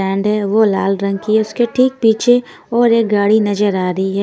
Brand है वो लाल रंग की है उसके ठीक पीछे और एक गाड़ी नजर आ रही है।